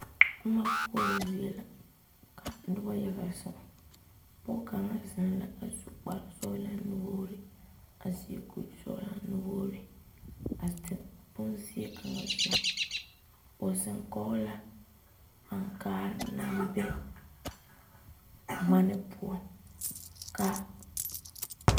Boma koɔrɔ zie la ka noba yaga zeŋ pɔge kaŋa zeŋ la a su kpare sɔglaa nuwogre a seɛ kuri sɔglaa nuwogre a zeŋ bonziɛ kaŋa zu o zeŋ kɔŋ la ankaare naŋ be ŋmaane poɔ ka.